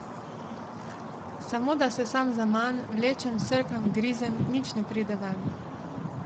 Samo da sesam zaman, vlečem, srkam, grizem, nič ne pride ven.